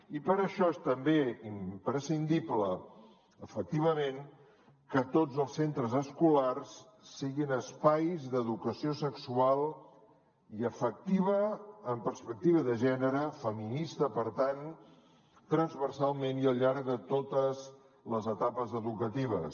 i per això és també imprescindible efectivament que tots els centres escolars siguin espais d’educació sexual i afectiva amb perspectiva de gènere feminista per tant transversalment i al llarg de totes les etapes educatives